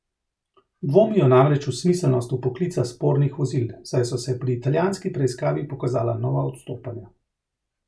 Dvomijo namreč v smiselnost vpoklica spornih vozil, saj so se pri italijanski preiskavi pokazala nova odstopanja.